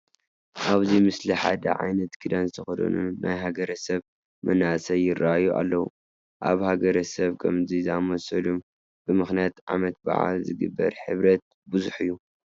ኣብዚ ምስሊ ሓደ ዓይነት ክዳን ዝተኸደኑ ናይ ሃገረሰብ መናእሰይ ይርአዩ ኣለዉ፡፡ ኣብ ሃገረሰብ ከምዚ ዝኣምሰለ ብምኽንያት ዓመት በዓል ዝግበር ሕብረት ብዙሕ እዩ፡፡